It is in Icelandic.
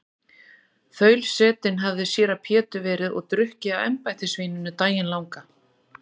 Þaulsetinn hafði séra Pétur verið og drukkið af embættisvíninu daginn langan.